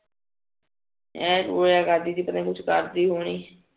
ਏ ਟੁਣਾ ਕਰਦੀ ਕੇ ਪਤਾ ਨੀ ਕੁਜ ਕਰਦੀ ਹੋਣੀ